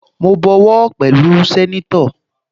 Mo bọwọ́ pẹ̀lú sẹ́nétọ̀